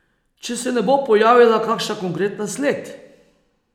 Če se ne bo pojavila kakšna konkretna sled.